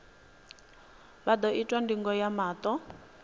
vha ḓo itwa ndingo ya maṱo